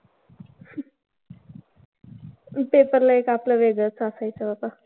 Paper ला एक आपलं वेगळंच असायचं बाबा.